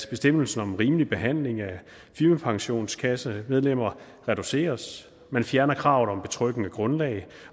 bestemmelsen om en rimelig behandling af firmapensionskassemedlemmer reduceres man fjerner kravet om et betryggende grundlag